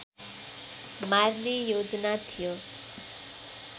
मार्ने योजना थियो